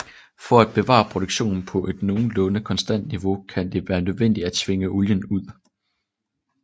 For at bevare produktionen på et nogenlunde konstant niveau kan det være nødvendigt at tvinge olien ud